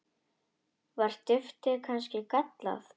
Var duftið kannski gallað?